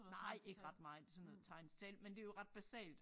Nej ikke ret meget sådan noget tegn selv men det jo ret basalt